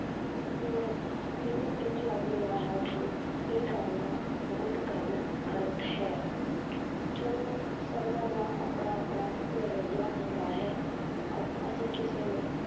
ਹੁਣ ਮੈਨੂੰ ਇੰਞ ਲੱਗ ਰਿਹਾ ਹੈ ਕਿ ਇਹ ਕਰਨਾ ਬਹੁਤ ਗੱਲ ਗ਼ਲਤ ਹੈ ਚਲੋ ਸਭਨਾਂ ਦਾ ਆਪਣਾ ਆਪਣਾ ਨਜ਼ਰੀਆ ਹੁੰਦਾ ਹੈ, ਅ ਅਸੀਂ ਕਿਸੇ ਨੂੰ